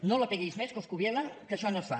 no li peguis més coscubiela que això no es fa